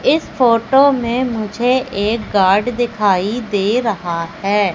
इस फोटो मे मुझे एक गार्ड दिखाई दे रहा है।